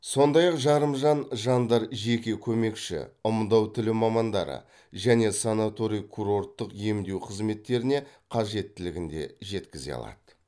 сондай ақ жарымжан жандар жеке көмекші ымдау тілі мамандары және санаторий курорттық емдеу қызметтеріне қажеттілігін де жеткізе алады